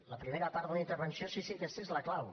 la primera part de la intervenció sí sí aquesta és la clau